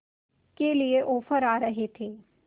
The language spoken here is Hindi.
के लिए ऑफर आ रहे थे